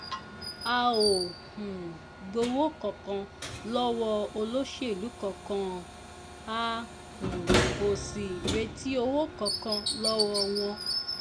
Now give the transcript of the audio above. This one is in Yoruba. a ò um gbowó kankan lọ́wọ́ olóṣèlú kankan a um ò sì retí owó kankan lọ́wọ́ wọn